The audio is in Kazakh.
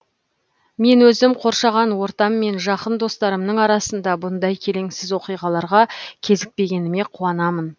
мен өзім қоршаған ортам мен жақын достарымның арасында бұндай келеңсіз оқиғаларға кезікпегеніме қуанамын